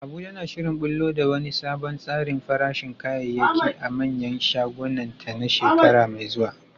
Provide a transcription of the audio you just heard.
Abuja na shirin ɓullo da wani sabon tsarin farashin kayayyaki a manyan shagunanta a shekara mai zuwa.